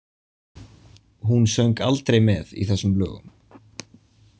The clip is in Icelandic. Hún söng aldrei með í þessum lögum.